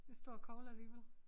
En stor kogle alligevel